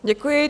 Děkuji.